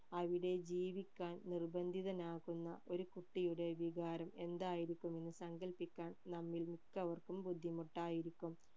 അവിടെ ജീവിക്കാൻ നിർബന്ധിതനാകുന്ന ഒരു കുട്ടിയുടെ വികാരം എന്തായിരിക്കും എന്ന് സങ്കൽപ്പിക്കാൻ നമ്മിൽ മിക്കവർക്കും ബുദ്ധിമുട്ടായിരിക്കും